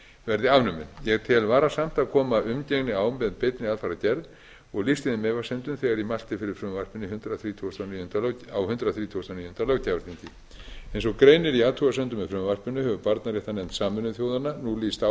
verði afnumin ég tel varasamt að koma umgengni á með beinni aðfarargerð og lýsti þeim efasemdum þegar ég mælti fyrir frumvarpinu á hundrað þrítugasta og níunda löggjafarþingi eins og greinir í athugasemdum með frumvarpinu hefur barnaréttarnefnd sameinuðu þjóðanna nú lýst